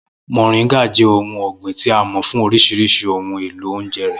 Moringa jẹ́ ohun ọ̀gbìn tí a mọ̀ fún oríṣiríṣi ohun èlò oúnjẹ rẹ̀.